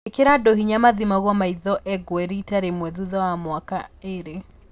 Ĩkĩra andũ hinya mathimagwo maitho engwe rita rĩmwe thutha wa mĩaka ĩĩrĩ